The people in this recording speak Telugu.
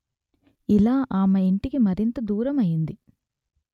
ఇలా ఆమె ఇంటికి మరింత దూరం అయింది